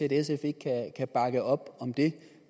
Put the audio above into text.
sf ikke kan bakke op om det